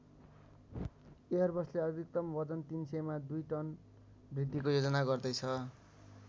एयरबसले अधिकतम वजन ३०० मा दुई टन वृद्धिको योजना गर्दै छ।